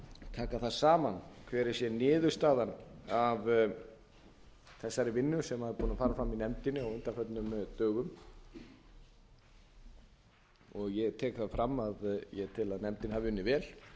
taka það saman hver sé niðurstaðan af þessari vinnu sem er búin að fara fram í nefndinni á undanförnum dögum og ég tek það fram að ég tel að nefndin hafi